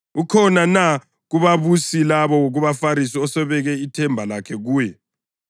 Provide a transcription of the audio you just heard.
Ukhona na kubabusi loba kubaFarisi osebeke ithemba lakhe kuye?